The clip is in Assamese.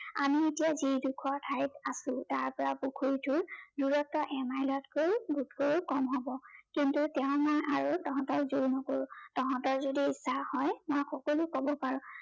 আমি এতিয়া যি ডোখৰ ঠাইত আছো, তাৰপৰা পুখুৰীটোৰ দূৰত্ব এমাইলতকৈ বোধকৰো কম হব। কিন্তু তেও মই আৰু তহঁতক জোৰ নকৰো। তহঁতৰ যদি ইচ্ছা হয়, মই সকলো কব পাৰো।